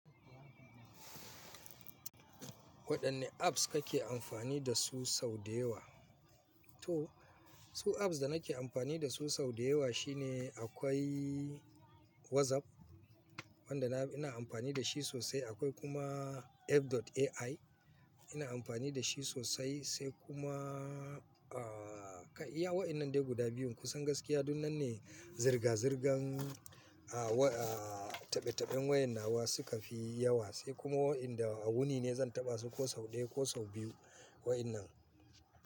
Waɗanne apps kake amfani dasu sau da yawa? To su apps da nake amfani dasu sau da yawa shine akwai WhatsApp wanda ina amfani da shi sosai. Akwai kuma F.ai ina amfani da shi sosai sai kuma, ah, iya waɗannan dai guda biyun. Kusan gaskiya duk nan ne zirga-zirgan, ah, wa, ah, taɓe-taɓen wayar nawa suka fi yawa sai kuma waɗanda a wuni ne zan taɓa su ko sau ɗaya ko sau biyu wa'innan.